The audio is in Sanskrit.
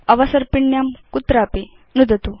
अवसर्पिण्यां कुत्रापि नुदतु